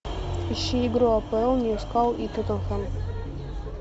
ищи игру апл ньюкасл и тоттенхэм